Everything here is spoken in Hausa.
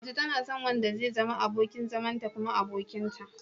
Mace tana son wanda zai zama abokin zamanta kuma abokinta.